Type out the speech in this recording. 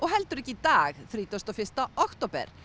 heldur ekki í dag þrítugasta og fyrsta október